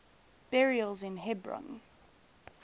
burials in hebron